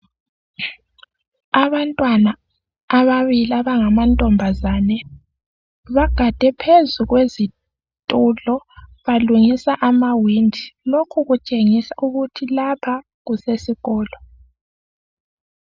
Abantwana ababili abangamantomazane bagade phezu kwezitulo balungisa amawindi, lokhu kutshengisa ukuthi lapha kusesikolo.